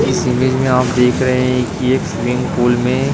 इस इमेज में आप देख रहे हैं कि एक स्विमिंग पूल में --